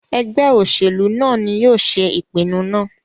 Ẹgbẹ oṣelu naa ni yóò ṣe ipinnu naa